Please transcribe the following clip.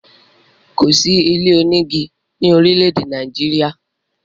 Kò sí ilé onígi ni orile-ede Nàìjíríà.